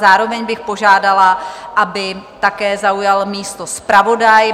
Zároveň bych požádala, aby také zaujal místo zpravodaj.